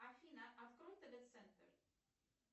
афина открой тв центр